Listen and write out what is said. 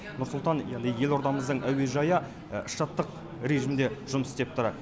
нұр сұлтан яғни елордамыздың әуежайы штаттық режимде жұмыс істеп тұр